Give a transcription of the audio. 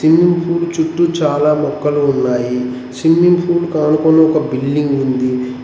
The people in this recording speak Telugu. స్విమ్మింగ్ పూల్ చుట్టు చాలా మొక్కలు ఉన్నాయి స్విమ్మింగ్ పూల్ కి అనుకొని ఒక బిల్డింగ్ ఉంది.